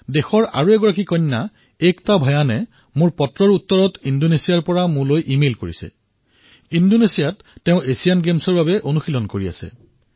দেশৰ আৰু এগৰাকী কন্যা একতা ভয়ানে মোৰ পত্ৰৰ উত্তৰ প্ৰদান কৰি ইণ্ডোনেছিয়াৰ পৰা মোলৈ ইমেইল কৰিছে যে তেওঁ এতিয়া এচিয়ান গেমছৰ প্ৰস্তুতি কৰি আছে